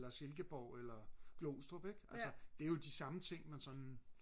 eller Silkeborg eller Glostrup ik. Altså det er jo de samme ting man sådan